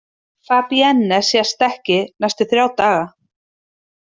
Fabienne sést ekki næstu þrjá daga.